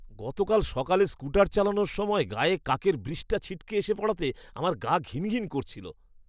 গতকাল সকালে স্কুটার চালানোর সময় গায়ে কাকের বৃষ্ঠা ছিটকে এসে পড়াতে আমার গা ঘিনঘিন করছিল!